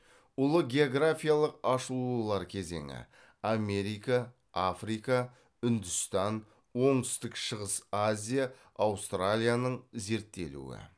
ұлы географиялық ашылулар кезеңі америка африка үндістан оңтүстік шығыс азия аустралияның зерттелуі